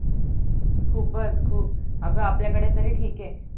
खूपच खूप अग आपल्या कडे तरी ठीक आहे